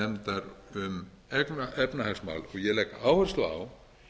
samráðsnefndar um efnahagsmál og ég legg áherslu á